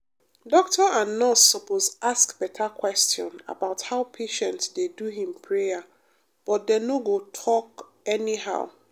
doctor and nurse suppose ask better question about how patient dey do him prayer but dem no go talk anyhow.